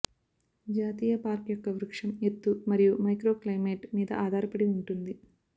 జాతీయ పార్క్ యొక్క వృక్షం ఎత్తు మరియు మైక్రో క్లైమైట్ మీద ఆధారపడి ఉంటుంది